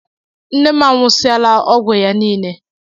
Nne mụ anwụsiala ọgwụ ya niile.